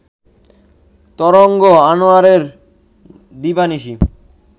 তরঙ্গ আনোয়ারের দিবানিশি